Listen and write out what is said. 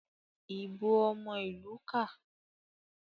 ìbò omo ilu ká.